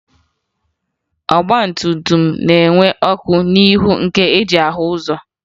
Ọgbatumtum na-enwe ọkụ n'ihu ha nke e ji ahụ ụzọ